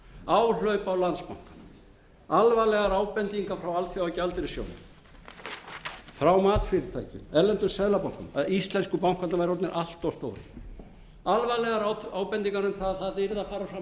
áhlaup á landsbankann alvarlegar ábendingar frá alþjóðagjaldeyrissjóðnum frá matsfyrirtækjum erlendum seðlabönkum að íslensku bankarnir væru orðnir allt of stórir alvarlegar ábendingar um að það yrði að fara fram mat og greining